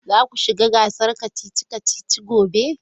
Za ku shiga gasar kacici-kacici gobe.